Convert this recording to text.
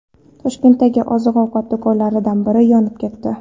Toshkentdagi oziq-ovqat do‘konlaridan biri yonib ketdi .